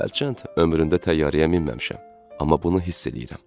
Hərçənd ömrümdə təyyarəyə minməmişəm, amma bunu hiss eləyirəm.